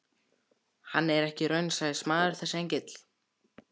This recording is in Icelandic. Hann er ekki raunsæismaður þessi engill.